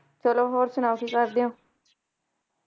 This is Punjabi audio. ਚਲੋ, ਹੋਰ ਸੁਣਾਓ ਕੀ ਕਰਦੇ ਹੋ?